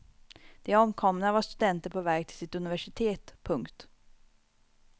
De omkomna var studenter på väg till sitt universitet. punkt